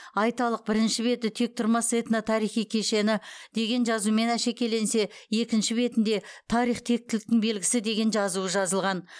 айталық бірінші беті тектұрмас этно тарихи кешені деген жазумен әшекейленсе екінші бетінде тарих тектіліктің белгісі деген жазуы жазылған